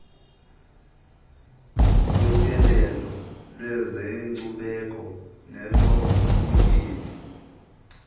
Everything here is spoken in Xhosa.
zotyelelo lwezenkcubeko nolobutyebi